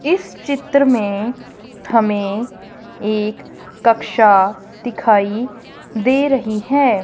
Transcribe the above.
इस चित्र में हमें एक कक्षा दिखाई दे रही है।